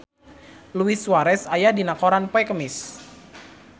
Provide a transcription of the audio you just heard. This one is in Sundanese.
Luis Suarez aya dina koran poe Kemis